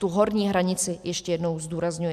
Tu horní hranici - ještě jednou zdůrazňuji.